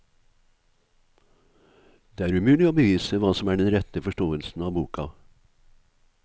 Det er umulig å bevise hva som er den rette forståelsen av boka.